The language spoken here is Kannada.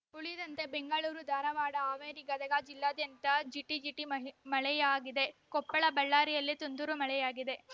ಉಳಿದಂತೆ ಬೆಂಗಳೂರು ಧಾರವಾಡ ಹಾವೇರಿ ಗದಗ ಜಿಲ್ಲಾದ್ಯಂತ ಜಿಟಿಜಿಟಿ ಮಳೆಯಾಗಿದೆ ಕೊಪ್ಪಳ ಬಳ್ಳಾರಿಯಲ್ಲಿ ತುಂತುರು ಮಳೆಯಾಗಿದೆ